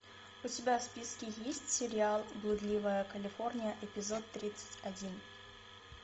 у тебя в списке есть сериал блудливая калифорния эпизод тридцать один